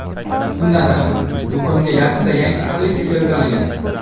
Bundan tashqari, do‘konga yaqinda yangi kolleksiya keltirilgan.